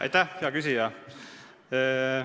Aitäh, hea küsija!